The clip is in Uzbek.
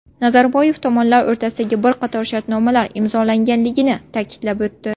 Nazarboyev tomonlar o‘rtasida bir qator shartnomalar imzolanganligini ta’kidlab o‘tdi.